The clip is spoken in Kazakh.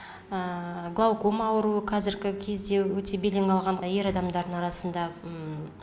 глаукома ауруы қазіргі кезде өте белең алған ер адамдардың арасында